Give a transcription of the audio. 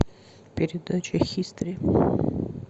передача хистори